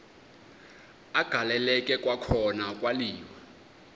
agaleleka kwakhona kwaliwa